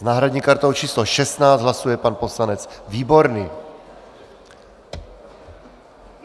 S náhradní kartou číslo 16 hlasuje pan poslanec Výborný.